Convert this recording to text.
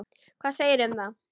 Hvað segirðu um það?